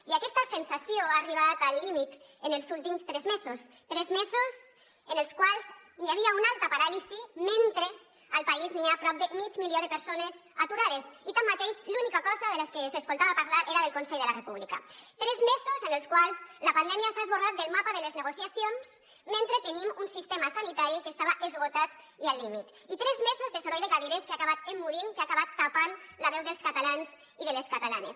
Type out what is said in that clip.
i aquesta sensació ha arribat al límit en els últims tres mesos tres mesos en els quals hi havia una alta paràlisi mentre al país n’hi ha prop de mig milió de persones aturades i tanmateix de l’única cosa de la que s’escoltava parlar era del consell de la república tres mesos en els quals la pandèmia s’ha esborrat del mapa de les negociacions mentre tenim un sistema sanitari que estava esgotat i al límit i tres mesos de soroll de cadires que ha acabat emmudint que ha acabat tapant la veu dels catalans i de les catalanes